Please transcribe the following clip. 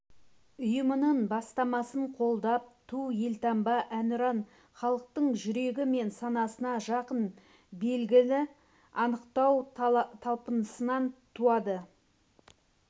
ұйымының бастамасын қолдап ту елтаңба әнұран халықтың жүрегі мен санасына жақын белгіні анықтау талпынысынан туады